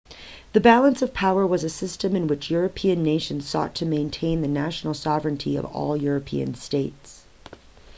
the balance of power was a system in which european nations sought to maintain the national sovereignty of all european states